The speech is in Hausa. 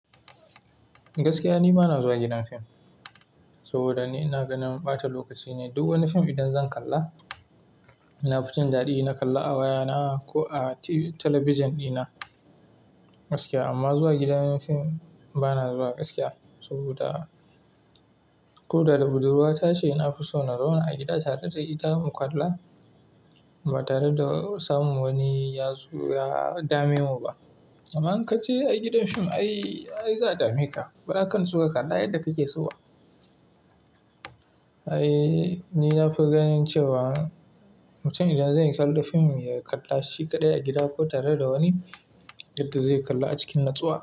Gaskiya ni bana zuwa gidan film saboda ni na ga na ɓata lokaci ne. Duk wani film idan zan kalla, ina jin daɗi na kalla a wayana ko a talabijin dina gaskiya. Amma zuwa gidan film bana zuwa gaskiya saboda ko da budurwa ta ce ina fi so na zauna a gida tare da ita mu kalla ba tare da samun wani yazo ya dame mu ba. Amma in ka je a gidan film ai za a dame ka. Ba za ka iya shiga kalla yadda kake so ba. Ai ni na fi ganin cewa mutum idan zai kalla fim ya kalla shi kaɗai a gida ko tare da wani yadda zai kalla a cikin nutsuwa.